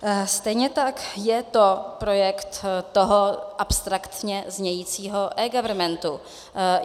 Stejně tak je to projekt toho abstraktně znějícího eGovernmentu.